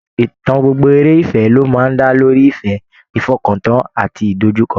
Ìtàn gbogbo eré ìfẹ́ ló máa ń dá lórí ìfẹ́, ìfọkàntán àti ìdojúkọ